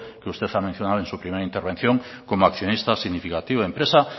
que usted ha mencionado en su primera intervención como accionista significativo empresa